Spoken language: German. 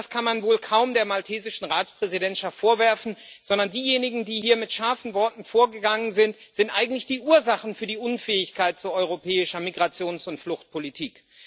Und das kann man wohl kaum der maltesischen Ratspräsidentschaft vorwerfen, sondern diejenigen, die hier mit scharfen Worten vorgegangen sind, sind eigentlich die Ursachen für die Unfähigkeit zu europäischer Migrations und Fluchtpolitik.